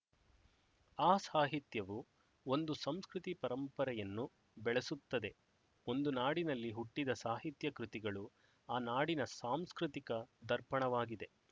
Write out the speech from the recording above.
ಆ ಸಾಹಿತ್ಯವು ಒಂದು ಸಂಸ್ಕೃತಿ ಪರಂಪರೆಯನ್ನು ಬೆಳೆಸುತ್ತದೆ ಒಂದು ನಾಡಿನಲ್ಲಿ ಹುಟ್ಟಿದ ಸಾಹಿತ್ಯಕೃತಿಗಳು ಆ ನಾಡಿನ ಸಾಂಸ್ಕೃತಿಕ ದರ್ಪಣವಾಗಿದೆ